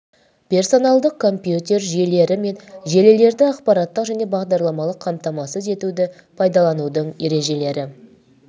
персоналдық компьютер жүйелер мен желілерді аппараттық және бағдарламалық қамтамасыз етуді пайдаланудың ережелері